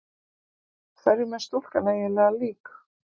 Hverjum er stúlkan eiginlega lík?